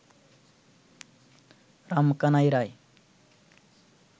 Ramkanai Roy